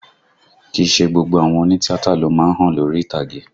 Kìí ṣe gbogbo àwọn òní tíátà ló má ń hàn lórí ìtàgé